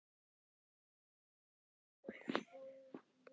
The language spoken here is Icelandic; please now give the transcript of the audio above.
Ögra henni.